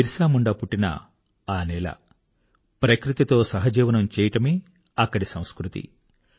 బిర్సా ముండా పుట్టిన ఆ నేల ప్రకృతితో సహజీవనం చేయడమే అక్కడి సంస్కృతి